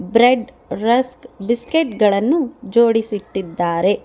Bread rusk biscuit ಗಳನ್ನು ಜೋಡಿಸಿಟ್ಟಿದ್ದಾರೆ.